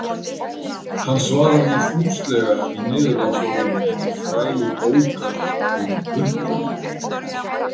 Hann svarar því fúslega í niðurlagsorðum hinnar frægu bókar Um upprunann.